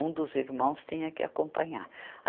Um dos irmãos tinha que acompanhar.